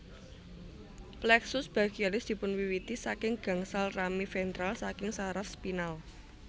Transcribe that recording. Plexus brachialis dipunwiwiti saking gangsal rami ventral saking saraf spinal